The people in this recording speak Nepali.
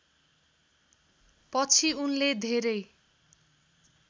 पछि उनले धेरै